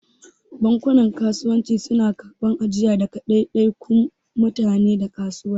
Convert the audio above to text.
Bankunan Kasuwanci suna karɓar ajiya daga daidaikun mutane da kasuwanci.